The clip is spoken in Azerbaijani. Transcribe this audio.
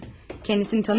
Kəndisini tanıyormuyum?